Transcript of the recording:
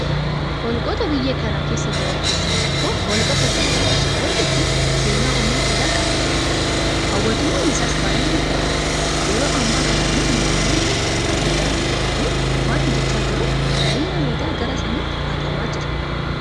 Holqoota biyya kana keessa jiran keessaa tokko holqa soofumaridha. Holqi kun seenaa umurii dheeraa qaba jedhama. Hawwattummaan isaas baay'ee miidhagaadha. Yeroo ammaa kana immoo mootummaan xiyyeeffannaa guddaa irratti kennee waan hojjechaa jiruuf qalbiin namootaa gara sanatti hatamaa jira.